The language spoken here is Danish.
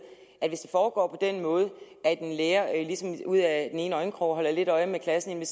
at det foregår på den måde at en lærer ligesom ud af den ene øjenkrog holder lidt øje med klassen inde